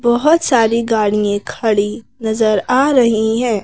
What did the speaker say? बहुत सारी गाड़ियां खड़ी नजर आ रही हैं।